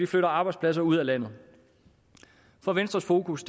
flytter arbejdspladser ud af landet for venstres fokus